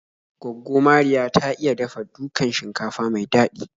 Gwaggo Mariya ta iya dafa dukan shinkafa mai daɗi